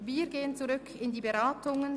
Nun kommen wir zur Haushaltdebatte zurück.